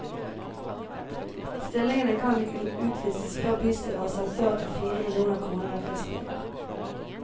Stillingene kan ikke utlyses før bystyret har sagt ja til fire millioner kroner i driftsmidler.